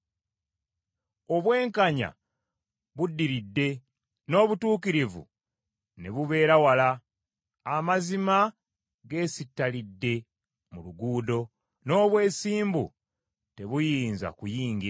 Obwenkanya buddiridde n’obutuukirivu ne bubeera wala. Amazima geesitalidde mu luguudo, n’obwesimbu tebuyinza kuyingira.